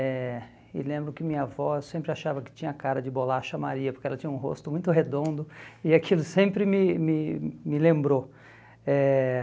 Eh e lembro que minha avó sempre achava que tinha cara de bolacha Maria, porque ela tinha um rosto muito redondo e aquilo sempre me me me lembrou. Eh